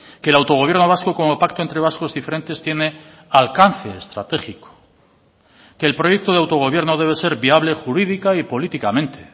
que el autogobierno vasco como pacto entre vascos diferentes tiene alcance estratégico que el proyecto de autogobierno debe ser viable jurídica y políticamente